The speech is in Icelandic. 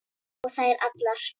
Og þær allar.